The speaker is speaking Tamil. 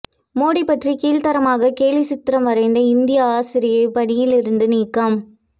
மோடி பற்றி கீழ்தரமாக கேலி சித்திரம் வரைந்த இந்திய ஆசிரியை பணியில் இருந்து நீக்கம்